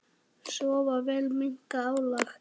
Sofa vel og minnka álag.